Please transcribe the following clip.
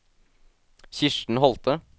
Kirsten Holthe